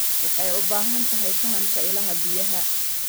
Waxay u baahan tahay fahamka ilaha biyaha.